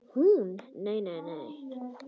Hún: Nei nei.